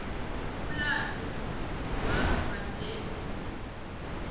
umlando wamva nje